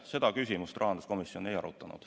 Seda küsimust rahanduskomisjon ei arutanud.